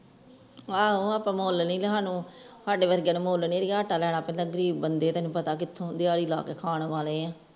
ਆਵੋ ਆਪਾਂ ਮੁੱਲ ਨਹੀਂ ਤੇ ਸਾਨੂੰ ਸਾਡੇ ਵਰਗਿਆਂ ਨੂੰ ਮੂਲ ਨਹੀਂ ਆਟਾ ਲੈਣਾਂ ਪੈਂਦਾ ਗਰੀਬ ਬੰਦੇ ਤੈਨੂੰ ਪਤਾ ਕਿੱਥੋਂ ਦਿਹਾੜੀ ਲਗਾ ਕੇ ਖਾਣ ਵਾਲੇ ਹਾਂ